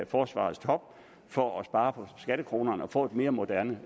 forsvarets top for at spare på skattekronerne og få et mere moderne